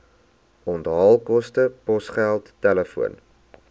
onthaalkoste posgeld telefoon